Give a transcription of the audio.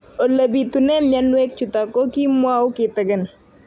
Ole pitune mionwek chutok ko kimwau kitig'�n